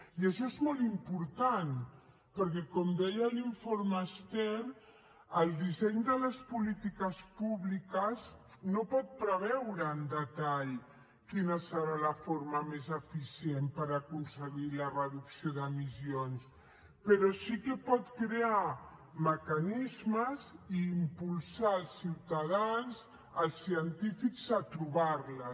i això és molt important perquè com deia l’informe stern el disseny de les polítiques públiques no pot preveure amb detall quina serà la forma més eficient per aconseguir la reducció d’emissions però sí que pot crear mecanismes i impulsar els ciutadans els científics a trobar les